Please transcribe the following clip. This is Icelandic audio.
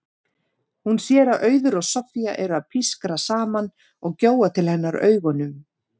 Hún sér að Auður og Soffía eru að pískra saman og gjóa til hennar augunum.